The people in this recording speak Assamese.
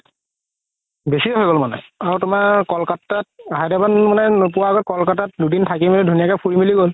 বেচি হয় গ'ল মানে আৰু তুমাৰ কলকাতাত হায়দৰাবাদ মানে নোপুৱা মানে কলকাতাত দুদিন থাকি মিলি ধুনীয়াকে ফুৰি মিলি গ'ল